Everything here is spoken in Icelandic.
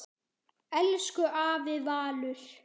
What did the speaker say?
Elsku afi Valur.